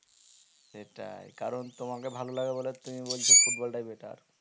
সেটাই কারণ তোমাকে ভালো লাগে বলে তুমি বলছো football টাই better